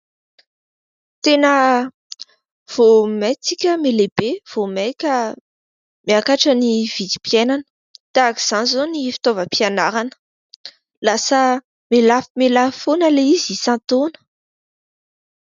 Tena vaomaika isika mahay lehibe vaomaika miakatra ny vidim-piainana, tahaka izany izao ny fitaovam-pianarana lasa mialafomialafo foana ilay izy isan-taona